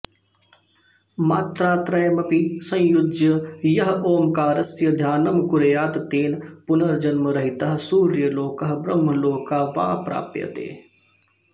मात्रात्रयमपि संयुज्य यः ओङ्कारस्य ध्यानं कुर्यात् तेन पुनर्जन्मरहितः सूर्यलोकः ब्रह्मलोकः वा प्राप्यते